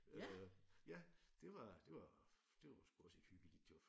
Øh ja det var det var det var sgu også et hyggeligt job